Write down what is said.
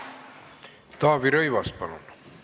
Taavi Rõivas, palun!